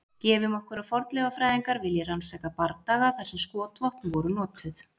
Gefum okkur að fornleifafræðingur vilji rannsaka bardaga þar sem skotvopn voru notuð.